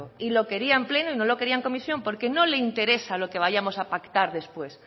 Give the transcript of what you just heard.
y lo quería en pleno y no lo quería en comisión porque no le interesa lo que vayamos a pactar después